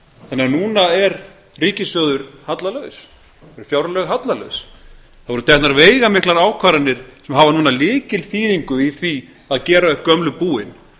þannig að núna er ríkissjóður hallalaus það eru fjárlög hallalaus það voru teknar veigamiklar ákvarðanir sem hafa núna lykilþýðingu í því að gera upp gömlu búin